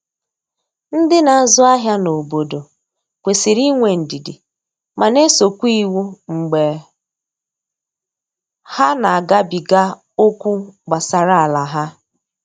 Ndi n'azụ ahịa na obodo kwesịrị inwe ndidi ma na eso kwa iwu mgbe ha na agabiga okwu gbasara ala ha.